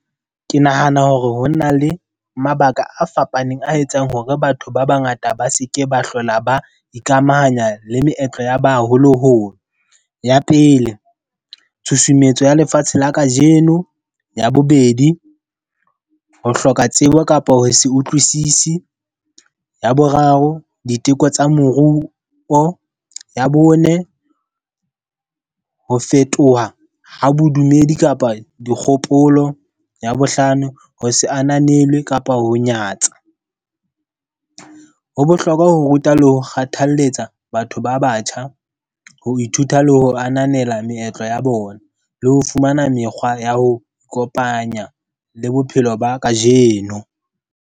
Ke nahana hore ho na le mabaka a fapaneng a etsang hore batho ba bangata ba seke ba hlola ba ikamahanya le meetlo ya baholoholo. Ya pele, tshusumetso ya lefatshe la kajeno. Ya bobedi, ho hloka tsebo kapo ho se utlwisisi. Ya boraro, diteko tsa moruo. Ya bone, ho fetoha ha bodumedi kapa dikgopolo. Ya bohlano, ho se ananelwe kapa ho nyatsa. Ho bohlokwa ho ruta le ho kgothalletsa batho ba batjha, ho ithuta le ho ananela meetlo ya bona, le ho fumana mekgwa ya ho ikopanya le bophelo ba ka jeno.